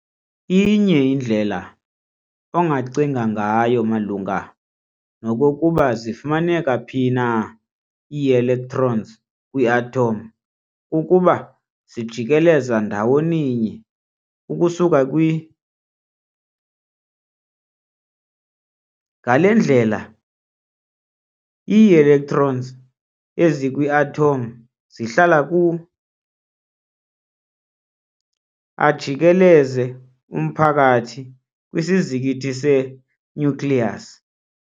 Inye indlela ongacinga ngayo malunga nokkokuba zifumaneka phi na ii-electrons kwi-atom kukuba zijikeleza ndawoninye ukusuka kwi. ngale ndlela, ii-electrons ezikwi-atom zihlala ku- ajikeleze umphakathi kwisizikithi se- nucleus.